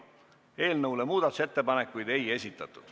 Eelnõu kohta muudatusettepanekuid ei esitatud.